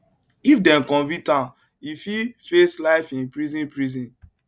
if dem convict am im fit face life in prison prison